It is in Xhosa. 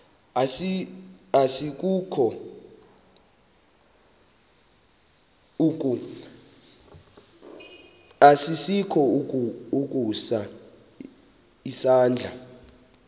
asikukho ukusa isandla